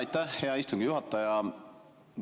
Aitäh, hea istungi juhataja!